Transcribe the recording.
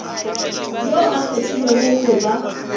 yoo a kgethilwego go ba